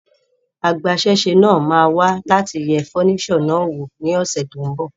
Agbasẹ́sé náà máa wá láti yẹ furniture náà wò ní ọ́sẹ́ tón bò